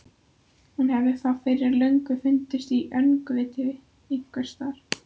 Hún hefði þá fyrir löngu fundist í öngviti einhvers staðar.